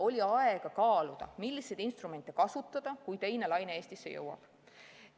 Oli aega kaaluda, milliseid instrumente kasutada, kui teine laine Eestisse jõuab.